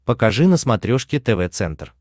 покажи на смотрешке тв центр